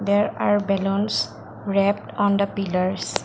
there are balloons wrapped on the pillars.